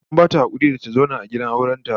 An bata hakuri da ta zauna gidan auren ta